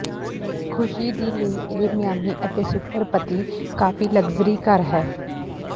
ਖ਼ੁਸ਼ੀ ਦੀ ਲਈ ਇਹ ਮਿਆਮੀ ਅਤੇ ਸੁਪਰ ਪਤੀ ਕਾਫ਼ੀ ਲਗਜ਼ਰੀ ਘਰ ਹੈ